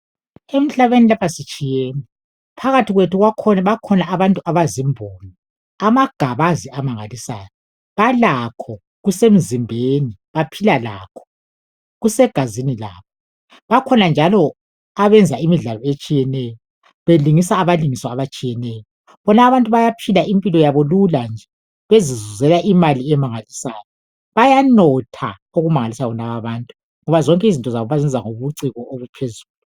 Emhlabeni lapha sitshiyene, phakathi kwethu bakhona abantu abazimbongi. Amagabazi amangalisayo. Balakho, kusemzimbeni, baphila lakho, kusegazini labo . Bakhona njalo abenza imidlalo etshiyeneyo belingisa abalingiswa abatshiyeneyo. Bonabo abantu bayaphila impilo yabo lula nje bezizuzela imali emangalisayo. Bayanotha okumangalisayo bonaba abantu ngoba zonke izinto zabo bazenza ngobuciko obuphezulu.